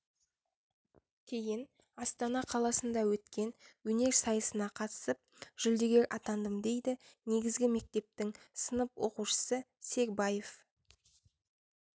кейін астана қаласында өткен өнер сайысына қатысып жүлдегер атандым дейді негізгі мектептің сынып оқушысы сербаев